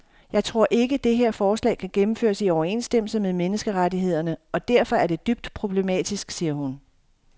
Jeg tror ikke, det her forslag kan gennemføres i overensstemmelse med menneskerettighederne og derfor er det dybt problematisk, siger hun.